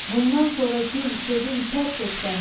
Bundan sonra gül, sevin, tərk et qəmi.